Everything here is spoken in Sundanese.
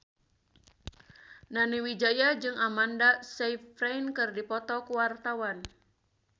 Nani Wijaya jeung Amanda Sayfried keur dipoto ku wartawan